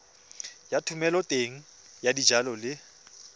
ya thomeloteng ya dijalo le